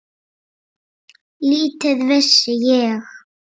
Lítið vissi ég.